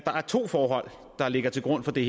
det